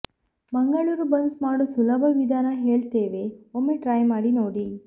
Mangaluru buns ಮಾಡೋ ಸುಲಭ ವಿಧಾನ ಹೇಳ್ತೇವೆ ಒಮ್ಮೆ ಟ್ರೈ ಮಾಡಿ ನೋಡಿ